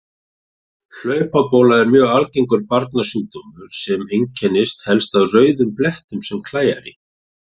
Hlaupabóla er mjög algengur barnasjúkdómur sem einkennist helst af rauðum blettum sem klæjar í.